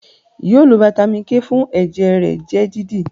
yóò lo Vitamin k fún ẹjẹ rẹ jẹ dídì!